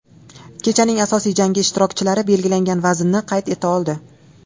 Kechaning asosiy jangi ishtirokchilari belgilangan vaznni qayd eta oldi.